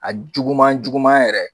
A juguman juguman yɛrɛ